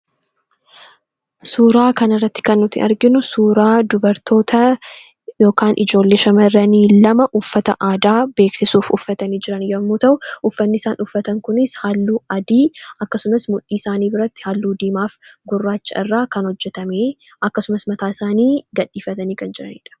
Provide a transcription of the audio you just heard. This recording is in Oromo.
Suuraa kanarratti kan nuti arginu suuraa dubartootaa yookaan ijoollee shamarranii lama uffata aadaa beeksisuuf uffatani jiran yommuu ta'u, uffanni isaan uffatan kunis halluu adii , akkasumas mudhii isaanii biratti halluu diimaaf gurraacha irraa kan hojjatame, akkasumas mataa isaanii gadhiifatani kan jiranidha.